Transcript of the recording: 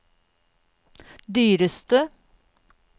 dyreste